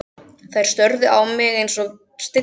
Þær störðu á mig einsog stillimyndir.